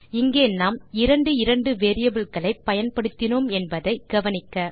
இங்கே நாம் இரண்டு இரண்டு வேரியபிள் களை பயன்படுத்தினோம் என்பதை கவனிக்க